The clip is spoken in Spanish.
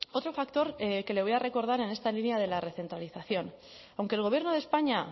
otro factor que le voy a recordar en esta línea de la recentralización aunque el gobierno de españa